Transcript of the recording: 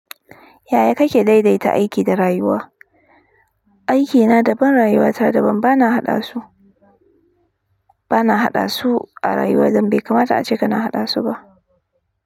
Yaya kake daidaita aiki da rayuwa? Aiki na daban, rayuwa ta daban. Bana haɗa su, bana haɗa su a rayuwa dambe. Kamata ace kana haɗa su ba.